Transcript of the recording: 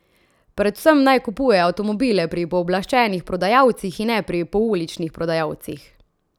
Predvsem naj kupujejo avtomobile pri pooblaščenih prodajalcih in ne pri pouličnih prodajalcih.